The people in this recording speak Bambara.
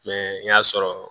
n y'a sɔrɔ